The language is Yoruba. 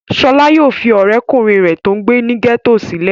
Ṣọlá yóò fi ọ̀rẹ́ kùnrin rẹ̀ tó ń gbé ní gẹ́tò sílẹ̀.